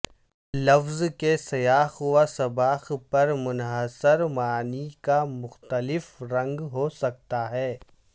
لفظ کے سیاق و سباق پر منحصر معنی کا مختلف رنگ ہو سکتا ہے